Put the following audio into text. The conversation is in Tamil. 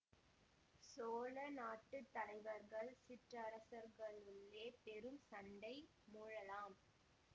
சோழ நாட்டு தலைவர்கள் சிற்றரசர்களுக்குள்ளே பெரும் சண்டை மூளலாம்